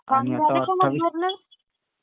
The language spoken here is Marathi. फॉर्म झाले का मग भरणं?